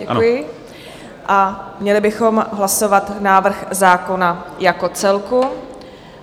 Děkuji, a měli bychom hlasovat návrh zákona jako celek.